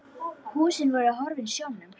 Húsin voru horfin sjónum.